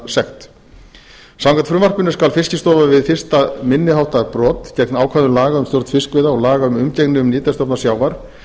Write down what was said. sekt samkvæmt frumvarpinu skal fiskistofa við fyrsta minni háttar brot gegn ákvæðum laga um stjórn fiskveiða og laga um umgengni um nytjastofna sjávar